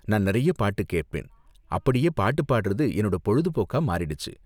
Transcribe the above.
நான் நிறைய பாட்டு கேப்பேன், அப்படியே பாட்டு பாடுறது என்னோட பொழுதுபோக்கா மாறிடுச்சு.